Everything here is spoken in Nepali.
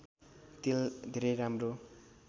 तेल धेरै राम्रो